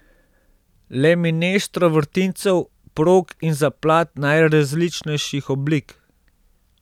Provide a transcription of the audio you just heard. Le mineštro vrtincev, prog in zaplat najrazličnejših oblik.